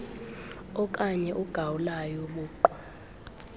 okanye ugawulayo buqu